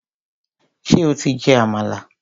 Ṣé o ti jẹ àmàlà?